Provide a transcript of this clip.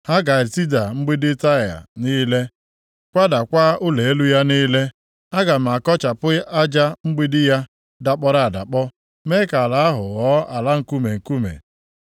Ha ga-etida mgbidi Taịa niile, kwadakwa ụlọ elu ya niile. Aga m akọchapụ aja mgbidi ya dakpọrọ adakpọ mee ka ala ahụ ghọọ ala nkume nkume.